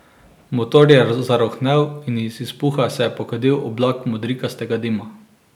Motor je zarohnel in iz izpuha se je pokadil oblak modrikastega dima.